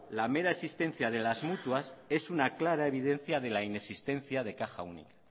la mera existencia de las mutuas es una clara evidencia de la inexistencia de caja única